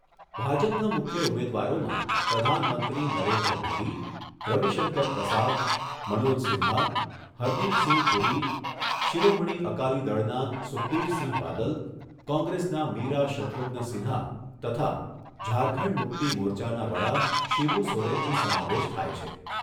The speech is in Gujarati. ભાજપના મુખ્ય ઉમેદવારોમાં પ્રધાનમંત્રી નરેન્દ્ર મોદી, રવિશંકર પ્રસાદ, મનોજ સિંહા, હરદિપસિંહ પુરી, શિરોમણી અકાલીદળના સુખબીરસિંહ બાદલ, કોંગ્રેસના મીરા શત્રુઘ્ન સિંહા તથા ઝારખંડ મુક્તિ મોરચાના વડા શિબુ સોરેનનો સમાવેશ થાય છે.